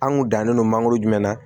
An kun dannen don mangoro jumɛn na